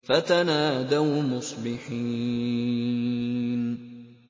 فَتَنَادَوْا مُصْبِحِينَ